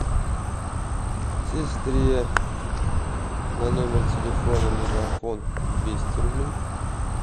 сестре на номер телефона мегафон двести рублей